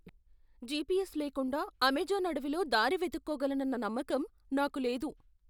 GPS లేకుండా Amazon అడవిలో దారి వెతుక్కోగలనన్న నమ్మకం నాకు లేదు.